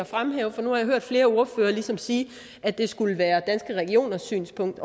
fremhæve for nu har jeg hørt flere ordførere ligesom sige at det skulle være danske regioners synspunkt